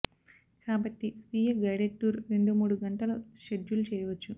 కాబట్టి స్వీయ guided tour రెండు మూడు గంటలు షెడ్యూల్ చేయవచ్చు